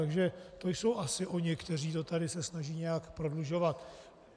Takže to jsou asi oni, kteří se to tady snaží nějak prodlužovat.